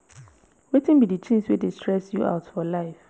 wetin be di things wey dey stress you out for life?